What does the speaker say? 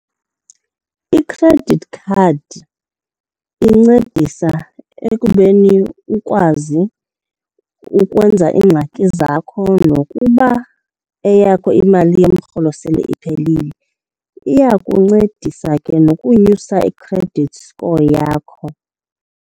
I-credit card incedisa ekubeni ukwazi ukwenza iingxaki zakho nokuba eyakho imali yomrholo sele iphelile. Iyakuncedisa ke nokunyusa i-credit score yakho.